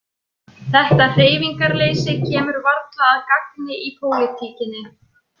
Þetta hreyfingarleysi kemur varla að gagni í pólitíkinni.